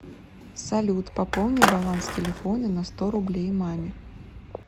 салют пополни баланс телефона на сто рублей маме